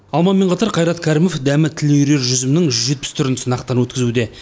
алмамен қатар қайрат кәрімов дәмі тіл үйірер жүзімнің жүз жетпіс түрін сынақтан өткізуде